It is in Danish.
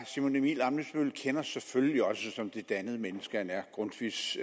simon emil ammitzbøll kender selvfølgelig også som det dannede menneske han er grundtvigs